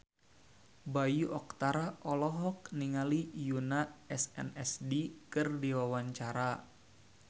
Bayu Octara olohok ningali Yoona SNSD keur diwawancara